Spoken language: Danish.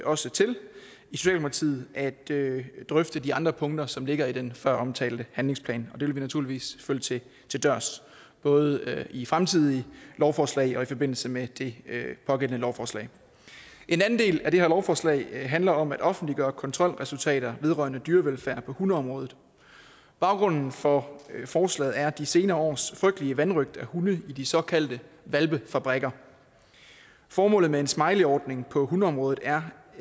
også til at drøfte de andre punkter som ligger i den føromtalte handlingsplan og det vil vi naturligvis følge til dørs både i fremtidige lovforslag og i forbindelse med det pågældende lovforslag en anden del af det her lovforslag handler om at offentliggøre kontrolresultater vedrørende dyrevelfærd på hundeområdet baggrunden for forslaget er de senere års frygtelige vanrøgt af hunde i de såkaldte hvalpefabrikker formålet med en smileyordning på hundeområdet er